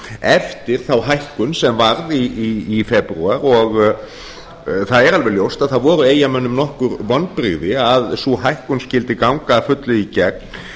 eftir þá hækkun sem varð í febrúar það er alveg ljóst að það voru eyjamönnum nokkur vonbrigði að sú hækkun skyldi ganga að fullu í gegn